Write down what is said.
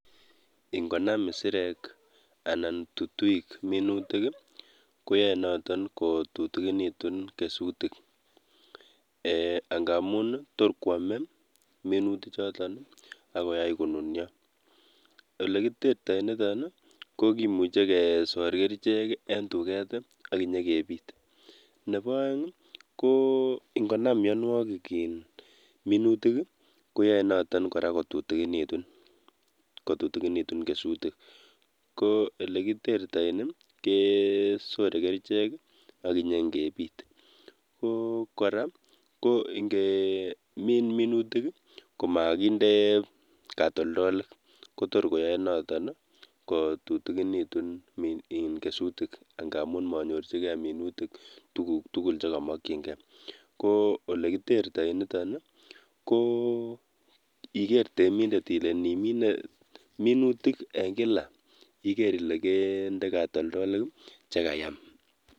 Ing'onam isirek anan tutuik minutik koyoe noton kotutukinitun kesutik, eeh ng'amun toor kwome minuti choton akoyai konunio, olekiterto niton kokimuche kesor kerichek en tuket akinyokebit, neboo oeng ko ng'onam mionwokik iin minutik koyoenoton kora kotutunikitun kesutik, ko olekiterto kesore kerichek akinyon kebit, ko kora ing'emin minutik komokinde katoldolik konoton kora netor koyoe kututukinitun kesutik ng'amun menyorchikee minutik tukuk tukul chekomokying'ee, ko elekiterto niton ko iker temindet ilee indiminee minutik en kilak iker ilee kendee katoldolik chekayam.